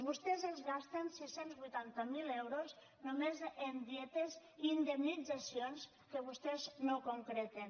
vostès es gasten sis cents i vuitanta miler euros només en dietes i indemnitzacions que vostès no concreten